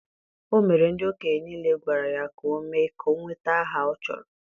o mere ndị okenye niile gwara ya ka o mee ka o nweta aha ọ chọrọ.